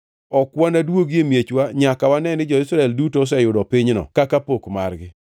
Ok wanaduogi e miechwa nyaka wane ni jo-Israel duto oseyudo pinyno kaka pok margi.